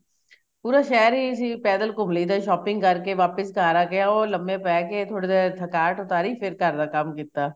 ਪੂਰ ਸ਼ਹਿਰ ਹੀ ਅਸੀਂ ਪੈਦਲ ਘੁੰਮ ਲਈ ਦਾ ਸੀ shopping ਕਰ ਕੇਕ ਵਾਪਿਸ ਘਰ ਆ ਕੇ ਓ ਲੰਮੇ ਪੇ ਕੇ ਥੋੜੀ ਦੇਰ ਥਕਾਵਟ ਉਤਰੀ ਫੇਰ ਘਰ ਦਾ ਕੰਮ ਕੀਤਾ